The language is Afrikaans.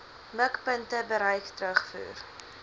mikpunte bereik terugvoer